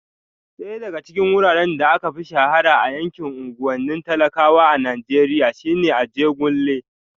Daya daga cikin wuraren da aka fi shahara a yankin unguwannin talakawa a Najeriya shine Ajegunle